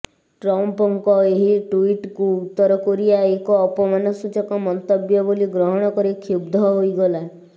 ଟ୍ରମ୍ପଙ୍କ ଏହି ଟ୍ୱିଟକୁ ଉତ୍ତର କୋରିଆ ଏକ ଅପମାନସୂଚକ ମନ୍ତବ୍ୟ ବୋଲି ଗ୍ରହଣ କରି କ୍ଷୁବ୍ଧ ହୋଇଗଲା